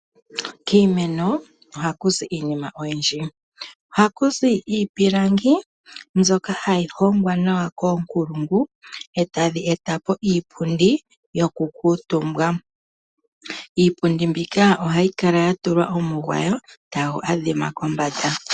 Kiimeno ohaku zi iinima oyindji. Ohaku zi iipilangi, mbyoka hayi hongwa nawa koonkulungu, etadhi etapo iipundi, yoku kuutumbwa. Upon mbyoka ohayi kala ya tulwa omugwayo tagu adhima kombanda.